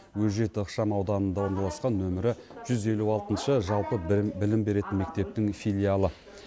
өжет ықшам ауданында орналасқан нөмірі жүз елу алтыншы жалпы білім беретін мектептің филиалы